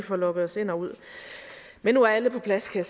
får logget os ind og ud men nu er alle på plads kan